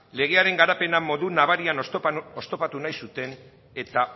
legearen garapena modu nabarian oztopatu nahi zuten eta